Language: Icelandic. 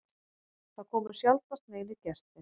Það komu sjaldnast neinir gestir.